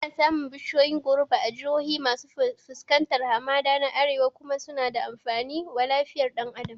Ana samun bishiyoyin goruba a jihohi masu fuskantar hamada na Arewa kuma suna da amfani wa lafiyar ɗan Adam